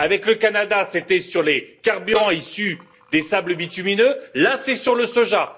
Avec le Canada, c'était sur les carburants issus des sables bitumineux, là, c'est sur le soja.